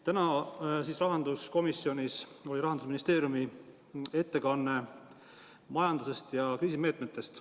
Täna oli rahanduskomisjonis Rahandusministeeriumi ettekanne majandusest ja kriisimeetmetest.